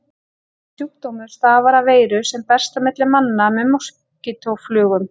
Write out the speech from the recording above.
Þessi sjúkdómur stafar af veiru sem berst á milli manna með moskítóflugum.